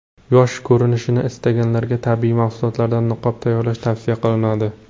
Yosh ko‘rinishni istaganlarga tabiiy mahsulotlardan niqob tayyorlash tavsiya qilinadi.